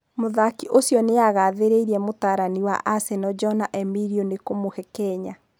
Mũthaki ũcio nĩagathĩrĩirie mũrutani wa Aseno Jona Emilio nĩ kũmũhe kanya.